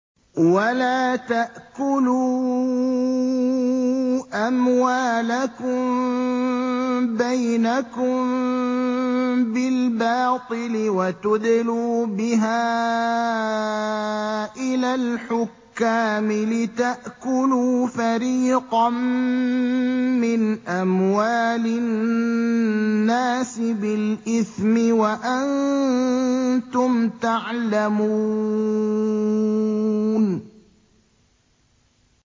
وَلَا تَأْكُلُوا أَمْوَالَكُم بَيْنَكُم بِالْبَاطِلِ وَتُدْلُوا بِهَا إِلَى الْحُكَّامِ لِتَأْكُلُوا فَرِيقًا مِّنْ أَمْوَالِ النَّاسِ بِالْإِثْمِ وَأَنتُمْ تَعْلَمُونَ